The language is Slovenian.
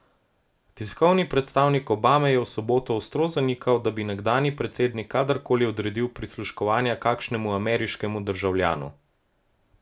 Tiskovni predstavnik Obame je v soboto ostro zanikal, da bi nekdanji predsednik kadarkoli odredil prisluškovanja kakšnemu ameriškemu državljanu.